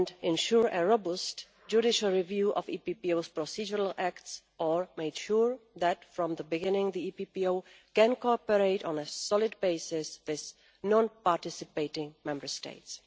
ensured a robust judicial review of the EPPO's procedural acts, or made sure that, from the beginning, the EPPO can cooperate on a solid basis with non-participating Member States.